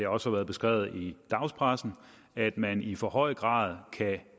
også været beskrevet i dagspressen at man i for høj grad kan